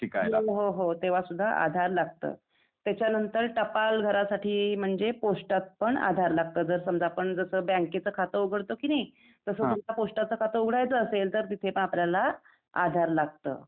हो हो हो तेंव्हा सुद्धा आधार लागतं. त्यासाच्यानंतर टपाल भरासाठी म्हणजे पोस्टात पण आधार लागतं. जर समजा आपण जसं बँकेचं खातं उघडतो कि नई तसं पोस्टाचा खातं उघडायचं असेल तर तिथे पण आपल्याला आधार लागतं.